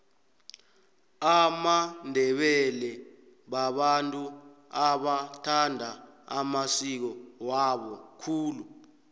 amandebele babantu abathanda amasiko wabo khulu